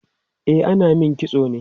e ana Mani kitso ne